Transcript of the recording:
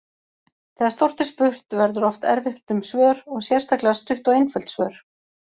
Þegar stórt er spurt verður oft erfitt um svör og sérstaklega stutt og einföld svör.